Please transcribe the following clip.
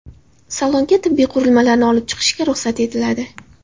Salonga tibbiy qurilmalarni olib chiqishga ruxsat etiladi.